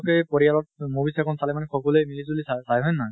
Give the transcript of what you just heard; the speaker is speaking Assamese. তে পৰিয়ালত movies এখন চালে মানে সকলোৱা মিলি জুলি চায় চায় হয় নে নহয়?